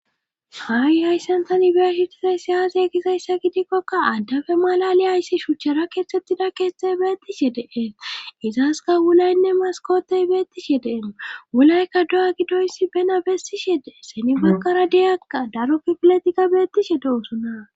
Haawi ayssantan ibesitizayssi aazi ekizayssa gidikkokka addafe malali hayssi shuchchera keettettida keexthe beettishe dee izaska wulaynne maskotey beettishe deeno wulaykka do7a gidoyssi bena bessishe dee seni bankara diyakka daro kifiletika beettishe de'osuna.